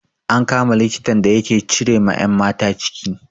An kama likitan da yake cire ma 'yan mata ciki.